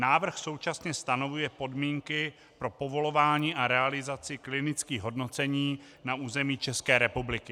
Návrh současně stanovuje podmínky pro povolování a realizaci klinických hodnocení na území České republiky.